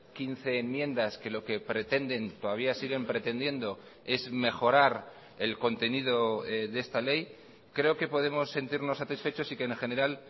quince enmiendas que lo que pretenden todavía siguen pretendiendo es mejorar el contenido de esta ley creo que podemos sentirnos satisfechos y que en general